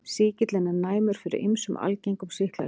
Sýkillinn er næmur fyrir ýmsum algengum sýklalyfjum.